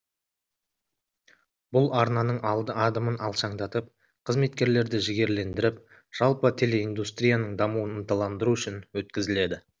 бұл арнаның адымын алшаңдатып қызметкерлерді жігерлендіріп жалпы телеиндустрияның дамуын ынталандыру үшін өткізіледі